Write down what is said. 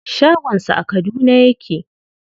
Shagon sa a Kaduna yake.